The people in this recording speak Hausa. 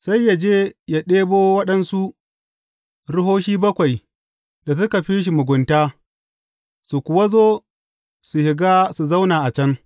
Sai yă je yă ɗebo waɗansu ruhohi bakwai da suka fi shi mugunta, su kuwa zo su shiga su zauna a can.